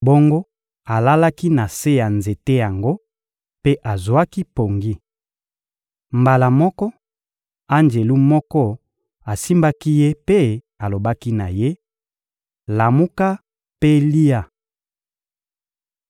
Bongo alalaki na se ya nzete yango mpe azwaki pongi. Mbala moko, anjelu moko asimbaki ye mpe alobaki na ye: — Lamuka mpe lia.